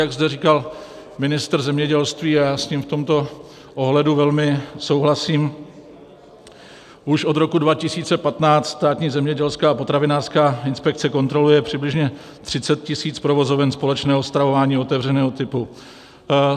Jak zde říkal ministr zemědělství, a já s ním v tomto ohledu velmi souhlasím, už od roku 2015 Státní zemědělská a potravinářská inspekce kontroluje přibližně 30 000 provozoven společného stravování otevřeného typu.